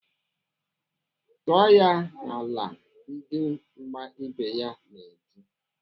"Tụọ ya n'ala!" Ndị mgba ibe ya na-eti.